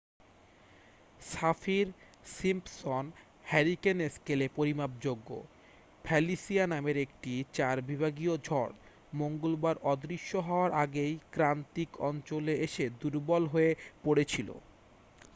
Saffir-Simpson hurricane স্কেলে পরিমাপযোগ্য Felicia নামের একটি 4 বিভাগীয় ঝড় মঙ্গলবার অদৃশ্য হওয়ার আগেই ক্রান্তীয় অঞ্চলে এসে দুর্বল হয়ে পড়েছিল